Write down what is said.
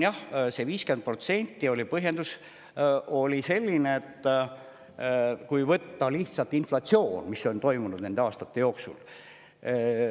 Jah, selle 50% põhjendus oli selline, et tuleks aluseks võtta lihtsalt inflatsioon, mis on olnud nende aastate jooksul.